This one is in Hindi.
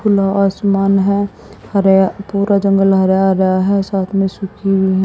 खुला आसमान है हरे पूरा जंगल हरा हरा है साथ में सूखी हुई--